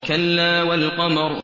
كَلَّا وَالْقَمَرِ